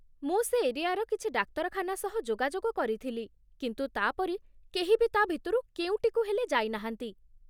ମୁଁ ସେ ଏରିଆର କିଛି ଡାକ୍ତରଖାନା ସହ ଯୋଗାଯୋଗ କରିଥିଲି କିନ୍ତୁ ତା' ପରି କେହି ବି ତା' ଭିତରୁ କେଉଁଟିକୁ ହେଲେ ଯାଇନାହାନ୍ତି ।